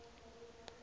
of attorney